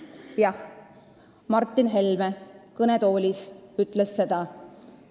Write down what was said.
Jah, Martin Helme kõnetoolis ütles seda.